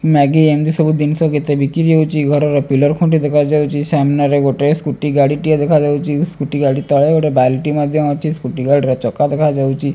Maggi ଏମିତି ସବୁ ଜିନିଷ କେତେ ବିକ୍ରି ହେଉଛି ଘରର ପିଲର୍ ଖୁଣ୍ଟି ଦେଖା ଯାଉଛି ସମ୍ମାନ ରେ ଗୋଟେ ସ୍କୁଟି ଗାଡ଼ି ଟିଏ ଦେଖା ଯାଉଛି ସ୍କୁଟି ଗାଡ଼ି ତଳେ ବାଲ୍ଟି ମଧ୍ୟ ଅଛି ସ୍କୁଟି ଗାଡ଼ିର ଚକା ଦେଖା ଯାଉଛି।